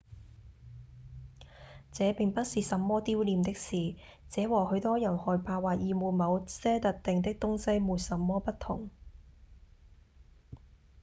這並不是什麼丟臉的事：這和許多人害怕或厭惡某些特定的東西沒什麼不同